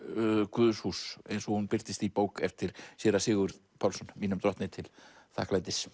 guðshús eins og hún birtist í bók eftir séra Sigurð Pálsson mínum drottni til þakklætis